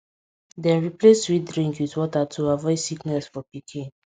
dem replace sweet drink with water to avoid sickness for pikin